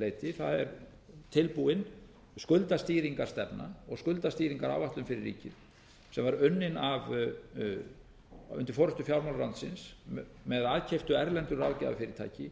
leyti það er tilbúin skuldastýringarstefna og skuldastýringaráætlun fyrir ríkið sem var unnin undir forustu fjármálaráðuneytisins með aðkeyptu erlendu ráðgjafarfyrirtæki